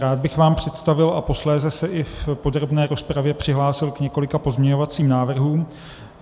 Rád bych vám představil a posléze se i v podrobné rozpravě přihlásil k několika pozměňovacím návrhům.